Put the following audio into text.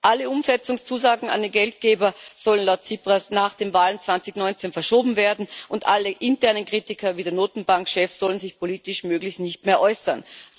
Alle Umsetzungszusagen an die Geldgeber sollen laut Tsipras auf nach den Wahlen 2019 verschoben werden, und alle internen Kritiker wie der Notenbankchef sollen sich politisch möglichst nicht mehr äußern.